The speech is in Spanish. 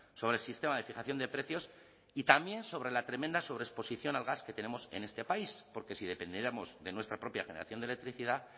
sobre el sistema de fijación de precios y también sobre la tremenda sobreexposición al gas que tenemos en este país porque si dependiéramos de nuestra propia generación de electricidad